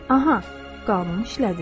Aha, qanun işlədi.